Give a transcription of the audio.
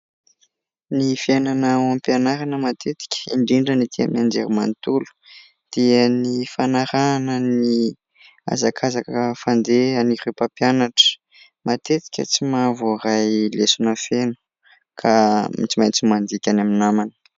Ny fiainana ao am-pianarana matetika indrindra ny etỳ amin'ny Anjerimanontolo, dia ny fanarahana ny hazakazaka fandehan'ireo mpampianatra. Matetika tsy mahavoray lesona feno, ka tsy maintsy mandika any amin'ny namany.